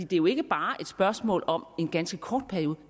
det er jo ikke bare et spørgsmål om en ganske kort periode